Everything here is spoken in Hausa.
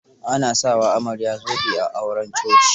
A na sa wa amarya zobe a auren coci.